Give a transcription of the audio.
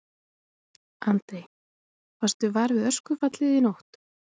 Andri: Varstu var við öskufallið í nótt?